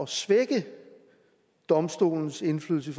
svække domstolens indflydelse i